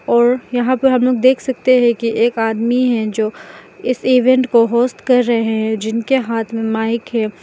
और यहां पर हम लोग देख सकते है कि एक आदमी है जो इस इवेंट को होस्ट कर रहे हैं जिनके हाथ मे माइक है।